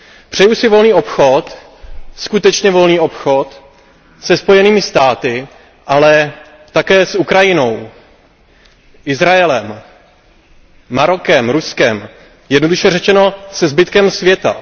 Přeji si volný obchod, skutečně volný obchod, se Spojenými státy americkými, ale také s Ukrajinou, Izraelem, Marokem, Ruskem jednoduše řečeno se zbytkem světa.